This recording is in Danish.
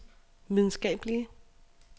videnskabelige